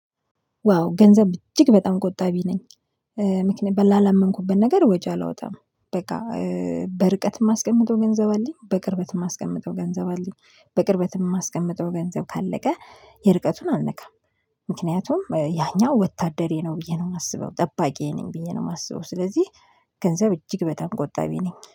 ዋው ገንዘብ እጅግ በጣም ቆጣቢ ነኝ። ምክንያቱም ላላመንኩበት ነገር ወጪ አላወጣም። በቃ በርቀት የማስቀምጠው ገንዘብ አለኝ በቅርበት የማስቀምጠው ገንዘብ አለኝ። በቅርበት የማስቀምጠው ገንዘብ ካለቀ የርቀቱን አልነካም። ምክንያቱም ያኛው ወታደሬ ነው ብዬ ነው የማስበው ጠባቂዬ ነኝ ብዬ ነው የማስበው። ስለዚህ ገንዘብ እጅግ በጣም ቆጣቢ ነኝ